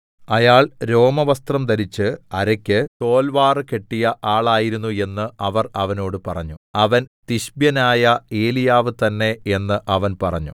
അയാൾ രോമവസ്ത്രം ധരിച്ച് അരയ്ക്ക് തോൽവാറ് കെട്ടിയ ആളായിരുന്നു എന്ന് അവർ അവനോട് പറഞ്ഞു അവൻ തിശ്ബ്യനായ ഏലീയാവ് തന്നേ എന്ന് അവൻ പറഞ്ഞു